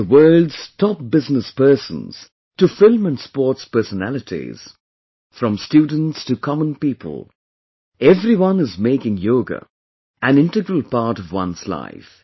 From the world's top business persons to film and sports personalities, from students to common people, everyone is making yoga an integral part of one's life